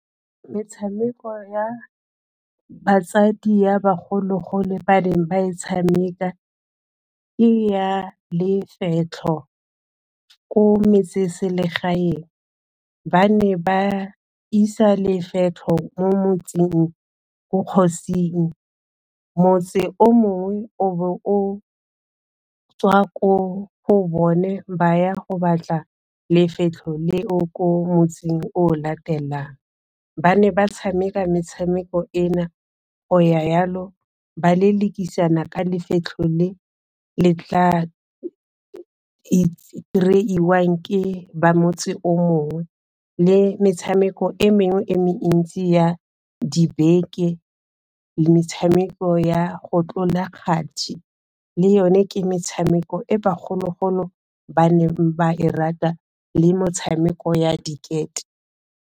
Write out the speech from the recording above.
Metshameko ya batsadi ya bagologolo ba neng ba e tshameka, ke ya lefetlho. Ko metseselegaeng ba ne ba isa lefetlho mo motseng ko kgosing, motse o mongwe o bo o tswa ko go bone ba ya go batla lefetlho leo ko motseng o o latelang. Ba ne ba tshameka metshameko eno go ya jalo, ba lelekisana ka lefetlho le le tla kry-iwang ke ba motse o mongwe, le metshameko e mengwe e mentsi ya dibeke, le metshameko ya go tlola ga kgati le yone ke metshameko e bogologolo ba ne ba e rata le metshameko ya diketo.